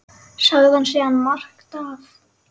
Sagði hann síðan margt af